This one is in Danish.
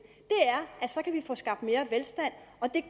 er så kan få skabt mere velstand og det